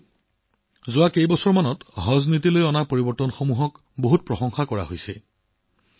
বন্ধুসকল যোৱা কেইবছৰমানৰ পৰা হজ নীতিত যি পৰিৱৰ্তন হৈছে তাক অতিশয় শলাগ লোৱা হৈছে